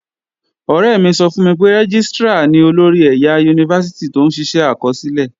Ọ̀rẹ́ mi sọ fún mi pé Rẹ́gístrà ni olórí ẹ̀yà Yunifásítì tó ń ṣiṣẹ́ àkọsílẹ̀